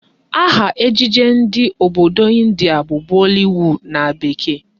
Aha ejije ndị obodo Ịndia bụ Bollywood na bekee